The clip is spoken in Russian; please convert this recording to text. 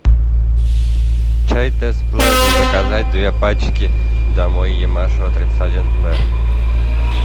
чай тесс плеже заказать две пачки домой ямашева тридцать один б